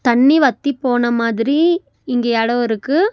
தண்ணி வத்தி போன மாதிரி இங்க எடோ இருக்கு.